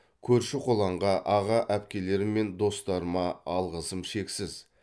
көрші қолаңға аға әпкелерім мен достарыма алғысым шексіз